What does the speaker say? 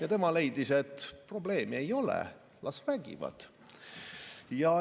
Aga tema leidis, et probleemi ei ole, las räägivad.